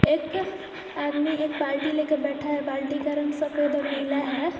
एक आदमी एक बाल्टी लेकर बैठा है बाल्टी का रंग सफेद और नीला है।